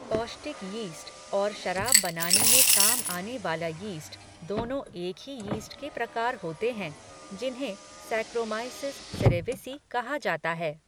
पौष्टिक यीस्ट और शराब बनाने में काम आने वाला यीस्ट, दोनों एक ही यीस्ट के प्रकार होते हैं जिन्हें सैक्रोमाइसिस सेरेविसी कहा जाता है।